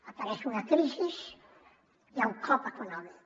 apareix una crisi hi ha un cop econòmic